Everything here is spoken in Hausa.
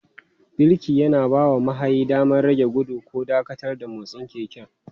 Birki yana bawa mahayi damar rage gudu ko dakatar da motsin keken.